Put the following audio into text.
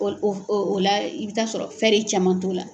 O o o la i bɛ taa sɔrɔ caman t'ola.